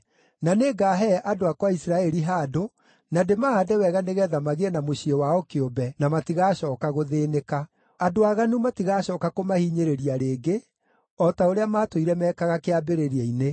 Na nĩngaahe andũ akwa a Isiraeli handũ, na ndĩmahaande wega nĩgeetha magĩe na mũciĩ wao kĩũmbe, na matigacooka gũthĩĩnĩka. Andũ aaganu matigacooka kũmahinyĩrĩria rĩngĩ, o ta ũrĩa maatũire meekaga kĩambĩrĩria-inĩ,